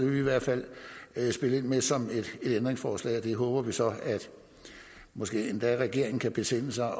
vi i hvert fald spille ind med som et ændringsforslag og vi håber så at måske endda regeringen kan besinde sig